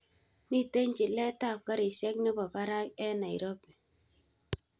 Miten chilet ab karishek nebo barak en nairobi